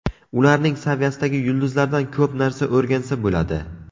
Ularning saviyasidagi yulduzlardan ko‘p narsa o‘rgansa bo‘ladi.